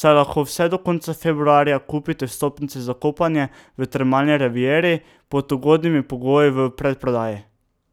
saj lahko vse do konca februarja kupite vstopnice za kopanje v Termalni rivieri pod ugodnimi pogoji v predprodaji.